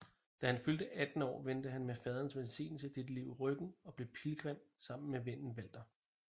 Da han fyldte 18 år vendte han med faderens velsignelse dette liv ryggen og blev pilgrim sammen med vennen Walter